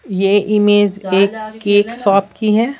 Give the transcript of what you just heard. यह इमेज एक cake shop की है।